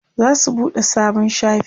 zasu buɗe sabon shafi